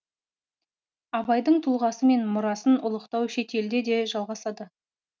абайдың тұлғасы мен мұрасын ұлықтау шетелде де жалғасады